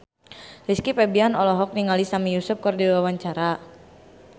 Rizky Febian olohok ningali Sami Yusuf keur diwawancara